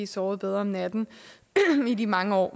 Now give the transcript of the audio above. sovet bedre om natten i de mange år